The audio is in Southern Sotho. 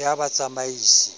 ya batsamaisi